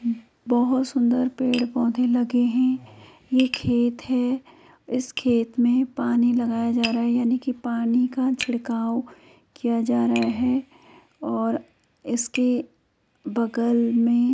बहुत सुंदर पेड़ पौधे लगे हैं| यह खेत है| इस खेत में पानी लगाया जा रहा है यानी की पानी का छिड़काव किया जा रहा है और इसके बगल में।